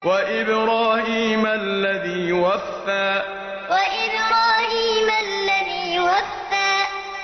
وَإِبْرَاهِيمَ الَّذِي وَفَّىٰ وَإِبْرَاهِيمَ الَّذِي وَفَّىٰ